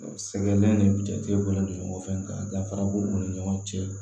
Sɛgɛn ɛri ni jatigɛ bonyana dafara b'o ni ɲɔgɔn cɛ